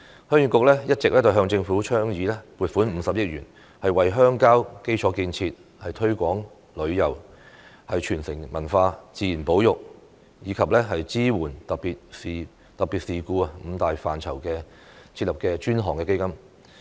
鄉議局一直向政府倡議撥款50億元，為鄉郊基礎建設、推廣旅遊、傳承文化、自然保育及支援特別事故五大範疇設立專項基金。